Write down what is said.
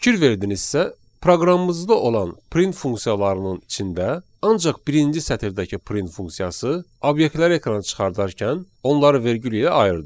Fikir verdinizsə, proqramımızda olan print funksiyalarının içində ancaq birinci sətirdəki print funksiyası obyektləri ekrana çıxardarkən onları vergül ilə ayırdı.